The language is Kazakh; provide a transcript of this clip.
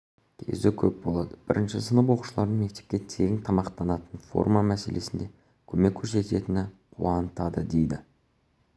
кезі көп болады бірінші сынып оқушыларының мектепте тегін тамақтанатыны форма мәселесінде көмек көрсететіні қуантады дейді